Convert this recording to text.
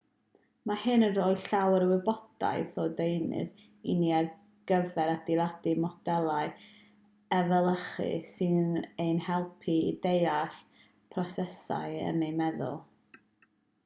mae hyn yn rhoi llawer o wybodaeth a deunydd i ni ar gyfer adeiladu modelau efelychu sy'n ein helpu i ddeall prosesau yn ein meddwl